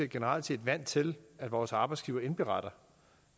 generelt set vant til at vores arbejdsgiver indberetter